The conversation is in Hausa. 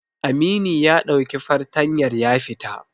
Amini ya ɗauki fartanyar ya fita.